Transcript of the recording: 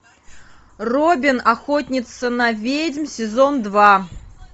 робин охотница на ведьм сезон два